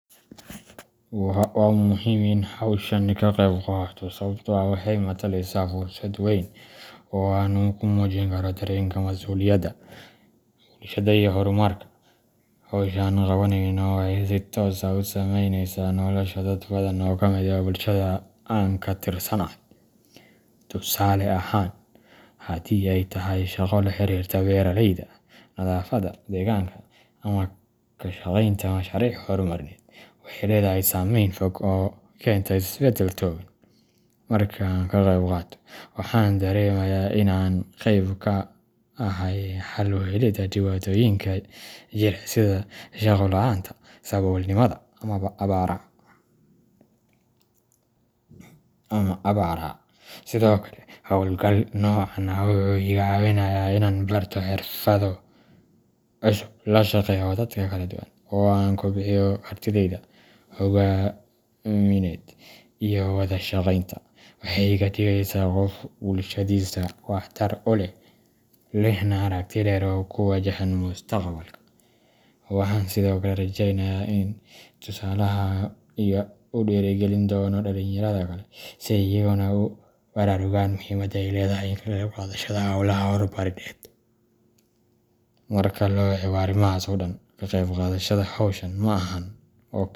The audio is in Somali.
Waa muhiim in aan hawshan ka qayb qaato sababtoo ah waxay mataleysaa fursad weyn oo aan ku muujin karo dareenkayga mas’uuliyadda, bulshada iyo horumarka. Hawsha aan qabaneyno waxay si toos ah u saameyneysaa nolosha dad badan oo ka mid ah bulshada aan ka tirsanahay. Tusaale ahaan, haddii ay tahay shaqo la xiriirta beeraleyda, nadaafadda deegaanka, ama ka shaqeynta mashaariic horumarineed, waxay leedahay saameyn fog oo keenta isbeddel togan. Marka aan ka qeyb qaato, waxaan dareemayaa in aan qayb ka ahay xal u helidda dhibaatooyinka jira sida shaqo la’aanta, saboolnimada, ama abaaraha. Sidoo kale, hawlgalka noocan ah wuxuu iga caawinayaa inaan barto xirfado cusub, la shaqeeyo dad kala duwan, oo aan kobciyo kartidayda hoggaamineed iyo wada shaqeynta. Waxay iga dhigeysaa qof bulshadiisa wax tar u leh, lehna aragti dheer oo ku wajahan mustaqbalka. Waxaan sidoo kale rajeynayaa in tusaalahayga uu dhiirigelin doono dhalinyarada kale si ay iyaguna ugu baraarugaan muhiimada ay leedahay ka qayb qaadashada hawlaha horumarineed. Marka la eego arrimahaas oo dhan, ka qayb qaadashada hawshan ma ahan.